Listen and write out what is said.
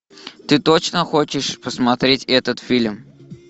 ты точно хочешь посмотреть этот фильм